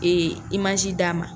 Ee imaji d'a ma